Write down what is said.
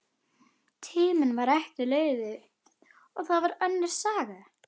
Tíminn var ekki lífið, og það var önnur saga.